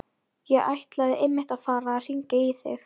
Ég ætlaði einmitt að fara að hringja í þig.